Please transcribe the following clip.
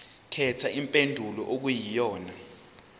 khetha impendulo okuyiyona